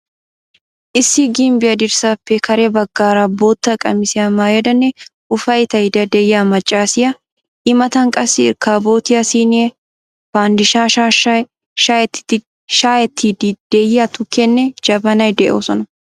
Issi gimbbiya dirssappe kare baggara bootta qamisiya maayidanne ufayttaydda de'iyaa maccassiya, i mataan qassi irkaboottiyaa siinee, pandiishaa shaashshay, shayettiidi diya tukkeenne jabannay de'oosonna.